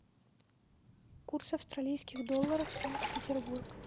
курс австралийских долларов санкт петербург